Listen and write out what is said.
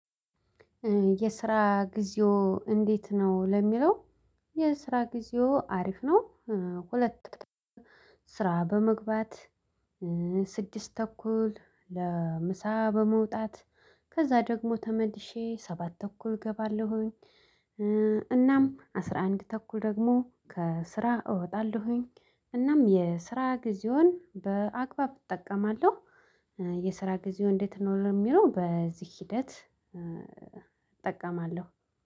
የስራ ጊዜው እንዴት ነው ለሚለው? የስራ ጊዜው አሪፍ ነው። ሁለት ስራ በመግባት። ስድስት ተኩል ለምሳ በመውጣት ከዛ ደግሞ ተመድሼ ሰባት ተኩል እገባለሁኝ። እናም አስራ አንድ ተኩል ደግሞ ከስራ እወጣለሁኝ። እናም የስራ ጊዜውን በአግባብ እጠቀማለሁ። የስራ ጊዜው እንዴት ነው የሚለው በዚህ ሂደት